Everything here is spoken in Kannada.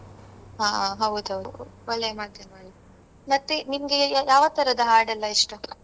ಹಾ ಹೌದು. ಒಳ್ಳೆಯ ಮಾಧ್ಯಮ ಅಲ್ವ ಮತ್ತೆ ನಿಮ್ಗೆ ಯಾವತರದ ಹಾಡೆಲ್ಲ ಇಷ್ಟ?